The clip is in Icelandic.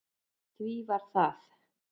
Því var það